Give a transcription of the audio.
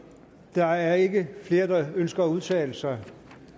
der er ikke flere der ønsker at udtale sig